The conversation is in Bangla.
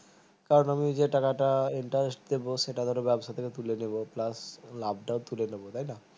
আমি যে টাকাটা interest দেব সেই টাকাতা ব্যবসা থেকে তুলে নিবো please লাভটা তুলে নেবো তাই না